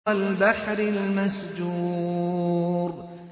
وَالْبَحْرِ الْمَسْجُورِ